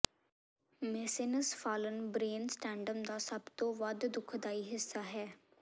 mesencephalon brainstem ਦਾ ਸਭ ਤੋਂ ਵੱਧ ਦੁਖਦਾਈ ਹਿੱਸਾ ਹੈ